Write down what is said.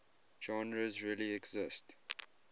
genres really exist